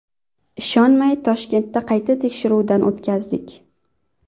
Ishonmay Toshkentda qayta tekshiruvdan o‘tkazdik.